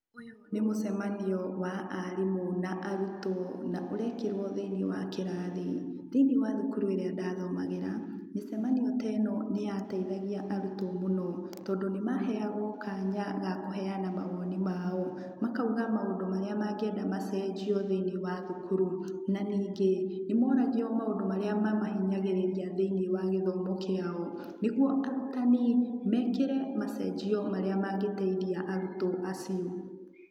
Ũyũ nĩ mũcemanio wa arimũ na arutwo na ũrekĩrwo thĩinĩ wa kĩrathi. Thĩiniĩ wa thukuru ũrĩa ndathomagĩra, mĩcemanio teno nĩyateithagia arutwo mũno, tondũ nĩ maheagwo kanya ga kũheana mawoni mao, makauga maũndũ marĩa mangĩenda macenjio thĩ-inĩ wa thukuru. Na ningĩ, nĩ moragio maũndũ marĩa mamahinyagĩrĩria thĩ-inĩ wa gĩthomo kĩao, nĩguo arutani mekĩre macenjio marĩa mangĩteithia arutwo acio.